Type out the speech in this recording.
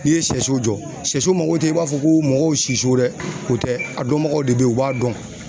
N'i ye sɛso jɔ sɛso mago tɛ i b'a fɔ ko mɔgɔw siso dɛ o tɛ a dɔnbagaw de be yen u b'a dɔn.